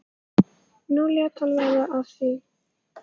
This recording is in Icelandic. Nú lét hann verða af því.